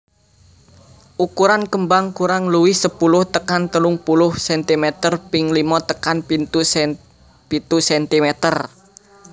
Ukuran kembang kurang luwih sepuluh tekan telung puluh centimeter ping limo tekan pitu centimeter